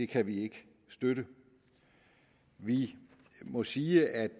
kan vi ikke støtte vi må sige at